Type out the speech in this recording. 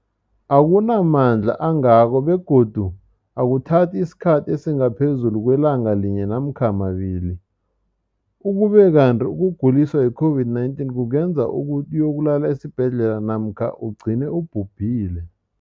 akuna mandla angako begodu akuthathi isikhathi esingaphezulu kwelanga linye namkha mabili, ukube kanti ukuguliswa yi-COVID-19 kungenza ukuthi uyokulala esibhedlela namkha ugcine ubhubhile.